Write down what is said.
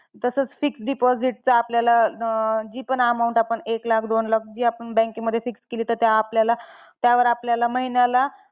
तसच fix deposit चे, आपल्याला अं जी पण amount आपण एक लाख, दोन लाख जी आपण bank मध्ये fix केली तर त्या आपल्याला, त्यावर आपल्याला महिन्याला